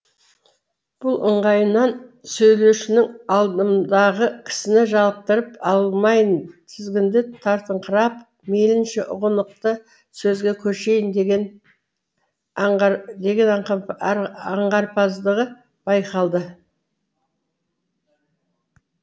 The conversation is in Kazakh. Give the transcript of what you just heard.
бұл ыңғайынан сөйлеушінің алдымдағы кісіні жалықтырып алмайын тізгінді тартыңқырап мейлінше ұғынықты сөзге көшейін деген аңғарымпаздығы байқалды